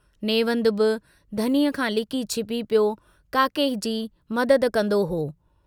नेवंदु बि धनीअ खां लिकी छिपी पियो काके की मदद कंदो हो।